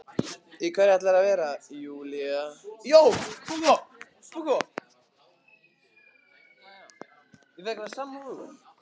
Í hverju ætlarðu að vera Júlía?